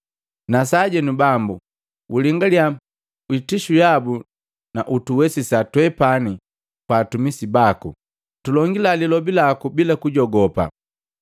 Na sajenu Bambo, ulingaliya itishu yabu na utuwesisa twepani twa atumisi baku tulongila lilobi laku bila kujogopa.